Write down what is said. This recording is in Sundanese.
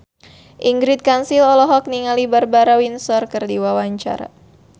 Ingrid Kansil olohok ningali Barbara Windsor keur diwawancara